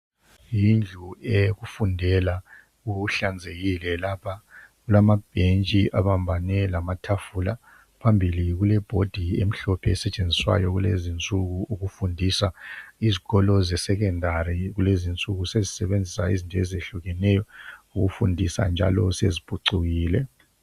Yindlu eyokufundela kuhlanzekile lapha kulamabhentshi abambane lamatafula phambili kulebhodi emhlophe esetshenziswayo kulezinsuku ukufundisa. Izikolo zesekhendari kulezinsuku sezisebenzisa izinto ezehlukeneyo ukufundisa njalo seziphucukile.